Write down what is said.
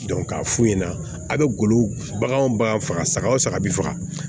k'a f'u ɲɛna a bɛ golo baganw bagan faga saga o saga bi faga